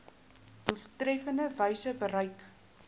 doeltreffendste wyse bereik